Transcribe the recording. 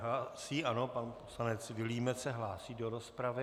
Hlásí, ano, pan poslanec Vilímec se hlásí do rozpravy.